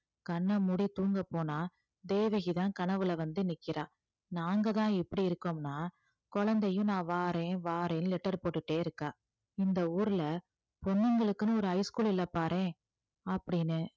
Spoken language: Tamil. கண்ணை மூடி தூங்கப் போனா தேவகிதான் கனவுல வந்து நிற்கிறா நாங்க தான் இப்படி இருக்கோம்னா குழந்தையும் நான் வாரேன் வாரேன்னு letter போட்டுட்டே இருக்கா இந்த ஊர்ல பொண்ணுங்களுக்குன்னு ஒரு high school இல்ல பாரேன் அப்படின்னு